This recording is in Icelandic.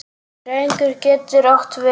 Drengur getur átt við